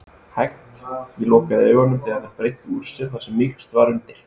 hægt. ég lokaði augunum þegar þær breiddu úr sér þar sem mýkst var undir.